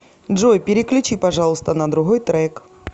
джой переключи пожалуйста на другой трек